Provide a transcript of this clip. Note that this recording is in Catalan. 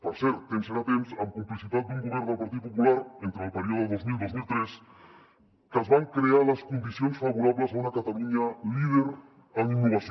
per cert temps era temps amb complicitat d’un govern del partit popular entre el període dos mil dos mil tres que es van crear les condicions favorables a una catalunya líder en innovació